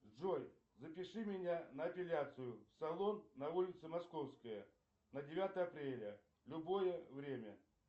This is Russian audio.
джой запиши меня на эпиляцию в салон на улице московская на девятое апреля любое время